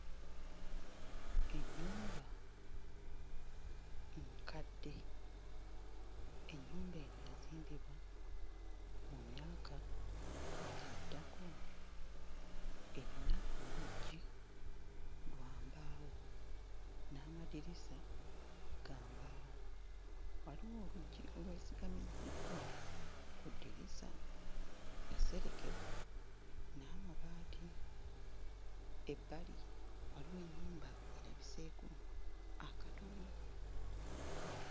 Ennyumba enkadde ennyumba eno yazimbibwa mu myaka gya ddako erina oluggi lwa mbaawo n'amadirisa ga mbaawo. Waliwo oluggi olw'esigamiziddwa ku ddirisa. Yaserekebwa n'amabaati. Ebbali waliwo ennyumba erabiseeko akatono.